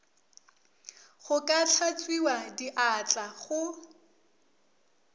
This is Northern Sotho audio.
go ka hlatswiwa diatla go